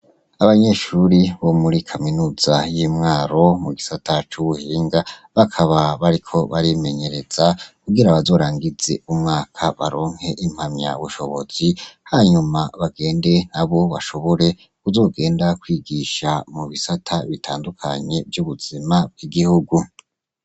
Abanyeshure bo muri kaminuza y’iMwaro mu gisata c’ubuhinga bakaba bariko barimenyereza kugira bazorangize umwaka baronke impamyabushobozi hanyuma bagende nabo bashobore kuzogenda Kwigisha mubisata bitandukanye vy’ubuzima bw’igihugu.